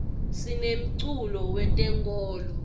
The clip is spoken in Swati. sinemculo we tenkolo